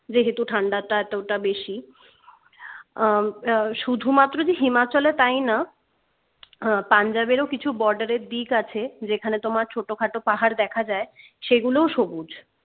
যেহেতু ঠান্ডাটা এতটা বেশি আহ শুধুমাত্র যে himachal এ তাই না আহ punjab এরও কিছু বর্ডারের দিক আছে যেখানে তোমার ছোটোখাটো পাহাড় দেখা যাই সেগুলোও সবুজ